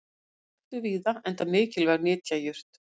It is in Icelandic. hún er ræktuð víða enda mikilvæg nytjajurt